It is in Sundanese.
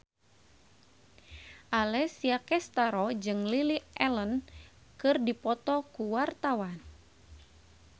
Alessia Cestaro jeung Lily Allen keur dipoto ku wartawan